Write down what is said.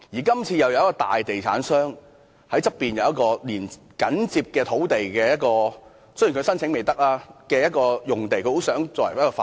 今次有一個大地產商在緊接所涉位置的旁邊擁有一幅土地——雖然申請尚未批核——想用作發展。